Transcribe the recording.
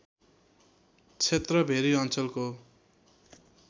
क्षेत्र भेरी अञ्चलको